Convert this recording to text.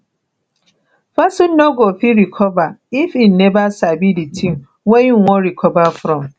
person no go fit recover if im never sabi di thing wey im wan recover from